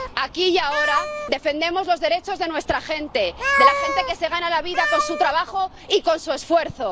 Aquí y ahora defendemos los derechos de nuestra gente, de la gente que se gana la vida con su trabajo y con su esfuerzo.